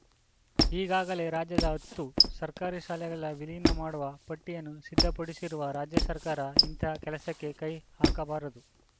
ಈಗಾಗಲೇ ರಾಜ್ಯದ ಹತ್ತು ಸರ್ಕಾರಿ ಶಾಲೆಗಳ ವಿಲೀನ ಮಾಡುವ ಪಟ್ಟಿಯನ್ನು ಸಿದ್ಧಪಡಿಸಿರುವ ರಾಜ್ಯ ಸರ್ಕಾರ ಇಂತಹ ಕೆಲಸಕ್ಕೆ ಕೈ ಹಾಕಬಾರದು